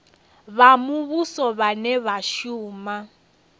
vha muvhuso vhane vha shuma